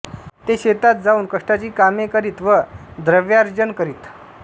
ते शेतात जाऊन कष्टाची कामे करीत व द्रव्यार्जन करीत